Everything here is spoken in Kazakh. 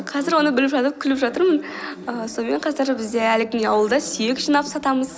қазір оны біліп жатып күліп жатырмын ііі сонымен қазір бізде әлі күнге ауылда сүйек жинап сатамыз